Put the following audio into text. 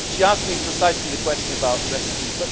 She asked me precisely the question about refugees.